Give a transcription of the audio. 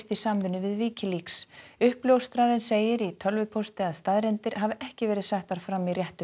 í samvinnu við uppljóstrarinn segir í tölvupósti að staðreyndir hafi ekki verið settar fram í réttu